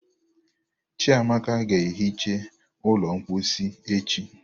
Chiamaka ga-ehicha ụlọ mposi echi